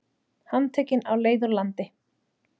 Handtekinn á leið úr landi